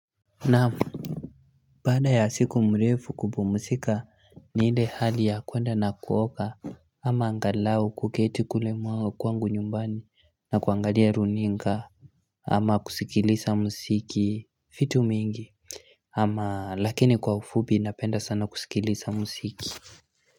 Naam, baada ya siku mrefu kupumsika ni hili hali ya kwenda na kuoga ama angalau kuketi kule mwao kwangu nyumbani na kuangalia runinga ama kusikilisa msiki fitu mingi ama lakini kwa ufupi napenda sana kusikilisa msiki.